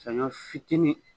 Saɲɔ fitinin